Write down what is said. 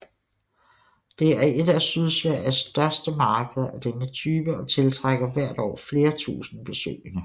Det er et af Sydsveriges største markeder af denne type og tiltrækker hvert år flere tusinde besøgende